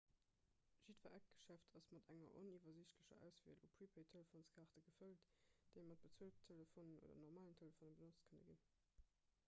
jiddwer eckgeschäft ass mat enger oniwwersiichtlecher auswiel u prepaid-telefonskaarte gefëllt déi mat bezueltelefonen oder normalen telefone benotzt kënne ginn